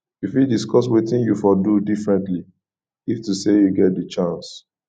you fit discuss wetin you for do differentiy if to say you get di chance